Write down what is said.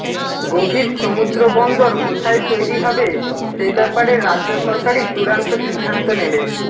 গভীর সমুদ্র বন্দর কোথায় তৈরি হবে সে ব্যাপারে রাজ্য সরকারই চূড়ান্ত সিদ্ধান্ত নেবে